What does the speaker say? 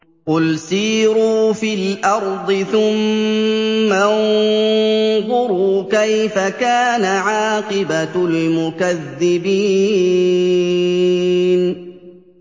قُلْ سِيرُوا فِي الْأَرْضِ ثُمَّ انظُرُوا كَيْفَ كَانَ عَاقِبَةُ الْمُكَذِّبِينَ